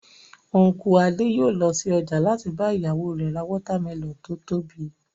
Unku Adé yòó lọ sí ọjà láti bá ìyàwó rẹ̀ ra watermelon tó tóbi